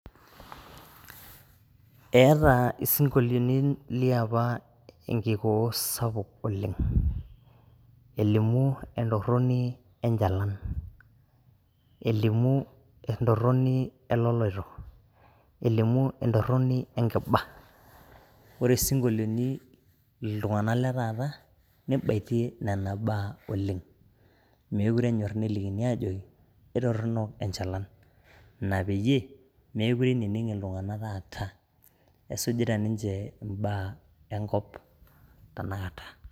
Eeata isinkolioiti liapa enkikuoo sapuk oleng, elimu entoroni enchalan, elimu entoroni eloloito, elimu entoroni enkiba. Ore isinkolioni ltungana le taata neibatie nena baa oleng, mekure enyorr nelikini aajoki etorino enchalan, ina peyie mekure einining' iltunganak taata, esujuata ninche imbaa enkop tanakata